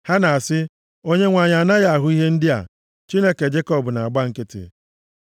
Ha na-asị, “ Onyenwe anyị anaghị ahụ ihe ndị a; Chineke Jekọb na-agba nkịtị.”